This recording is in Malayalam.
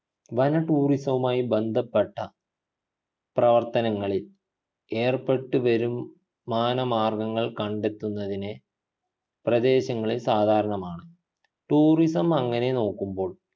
വന tourism വുമായി ബന്ധപ്പെട്ട പ്രവർത്തനങ്ങളിൽ ഏർപ്പെട്ടു വരും മാനമാർഗങ്ങൾ കണ്ടെത്തുന്നതിനെ പ്രദേശങ്ങളിൽ സാധാരണമാണ് tourism അങ്ങനെ നോക്കുമ്പോൾ